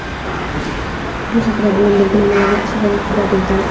Bu haqda "Bloomberg" manbalarga asoslanib xabar bergan.